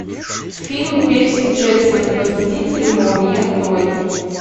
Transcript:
фильм перси джексон и похититель молний открой